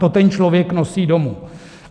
To ten člověk nosí domů.